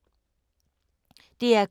DR K